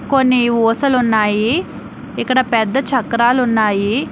కొన్ని ఊసలు ఉన్నాయి ఇక్కడ పెద్ద చక్రాలు ఉన్నాయి.